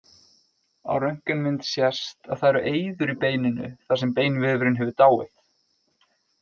Á röntgenmynd sést að það eru eyður í beininu þar sem beinvefurinn hefur dáið.